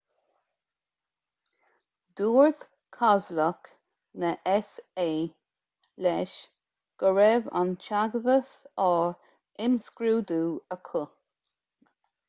dúirt cabhlach na s.a. leis go raibh an teagmhas á imscrúdú acu